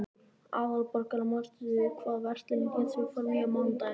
Aðalborgar, manstu hvað verslunin hét sem við fórum í á mánudaginn?